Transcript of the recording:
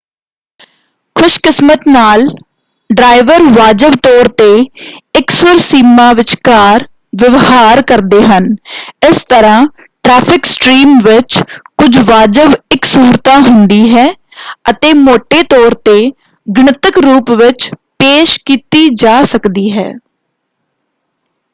ਖ਼ੁਸ਼ਕਿਸਮਤ ਨਾਲ ਡਰਾਇਵਰ ਵਾਜਬ ਤੌਰ 'ਤੇ ਇਕਸੁਰ ਸੀਮਾ ਵਿਚਕਾਰ ਵਿਵਹਾਰ ਕਰਦੇ ਹਨ; ਇਸ ਤਰ੍ਹਾਂ ਟਰੈਫਿਕ ਸਟ੍ਰੀਮ ਵਿੱਚ ਕੁਝ ਵਾਜਬ ਇਕਸੁਰਤਾ ਹੁੰਦੀ ਹੈ ਅਤੇ ਮੌਟੇ ਤੌਰ 'ਤੇ ਗਣਿਤਕ ਰੂਪ ਵਿੱਚ ਪੇਸ਼ ਕੀਤੀ ਜਾ ਸਕਦੀ ਹੈ।